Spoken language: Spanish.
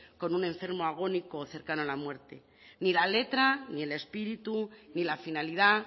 con un enfermo agónico o cercano a la muerte ni la letra ni el espíritu ni la finalidad